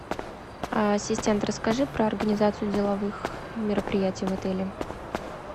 ассистент расскажи про организацию деловых мероприятий в отеле